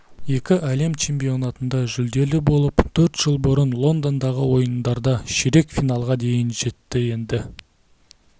екі әлем чемпионатында жүлделі болып төрт жыл бұрын лондондағы ойындарда ширек финалға дейін жетті енді